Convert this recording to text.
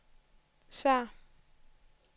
svar